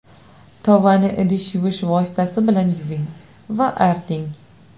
Tovani idish yuvish vositasi bilan yuving va arting.